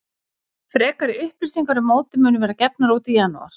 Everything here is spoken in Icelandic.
Frekari upplýsingar um mótið munu verða gefnar út í janúar.